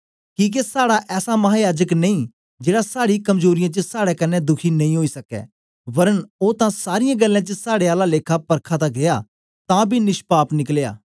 किके साड़ा ऐसा महायाजक नेई जेड़ा साड़ी कमजोरीयें च साड़े कन्ने दुखी नेई ओई सकै वरन ओ तां सारीयें गल्लें च साड़े आला लेखा परखा तां गीया तां बी निष्पाप निकलया